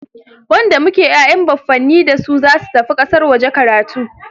Wanda muke ya'yan baffanin dasu zasu tafi kasar waje karatu.